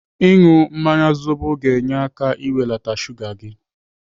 Ịnụ mmanya zobo ga-enye aka n'iwelata shuga gị.